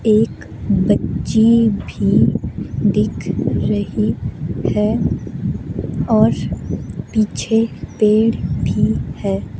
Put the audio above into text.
एक बच्ची भी दिख रही है और पीछे पेड़ भी है।